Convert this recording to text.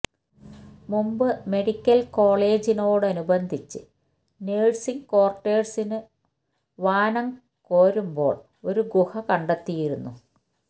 മുമ്പ് മെഡിക്കല് കോളേജിനോടനുബന്ധിച്ച് നഴ്സിംഗ് ക്വോര്ട്ടേഴ്സിനു വാനം കോരുമ്പോള് ഒരു ഗുഹ കണ്ടെത്തിയിരുന്നു